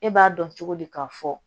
E b'a dɔn cogo di k'a fɔ